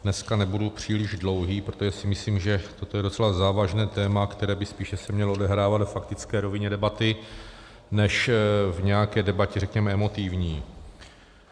Dneska nebudu příliš dlouhý, protože si myslím, že toto je docela závažné téma, které by se spíš mělo odehrávat ve faktické rovině debaty než v nějaké debatě řekněme emotivní.